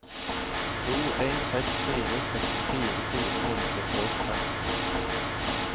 to en seks fire sekstifire fire hundre og femten